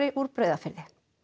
úr Breiðafirði